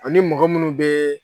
Ani mɔgɔ minnu bɛ